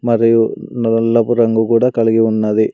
మరియు నల్లపు రంగు కూడా కలిగి ఉన్నది.